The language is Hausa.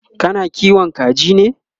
kana kiwon kaji ne?